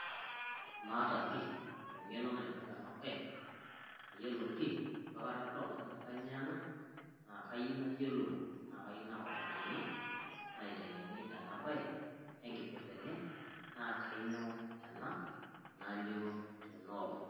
Maata pii eng'eno naipirta ena baye, mayiolo pii itu aikata adol ajo kainyioo ena naa kayieu nayiolou naa kayieu naautakini, naiteng'eni ena baye oo enkipirta enye naa kainyio ena nalioo tena oleng'.